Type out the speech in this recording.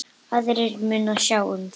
Aðrir munu sjá um það.